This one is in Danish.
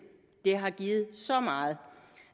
det har givet så meget